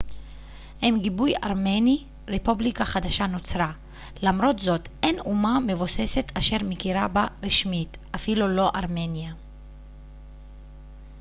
עם גיבוי ארמני רפובליקה חדשה נוצרה למרות זאת אין אומה מבוססת אשר מכירה בה רשמית אפילו לא ארמניה